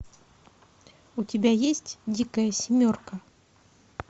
у тебя есть дикая семерка